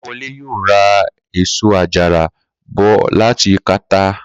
Kó̩lawo̩le yóò ra èso àjàrà bò̩ láti Kàtáà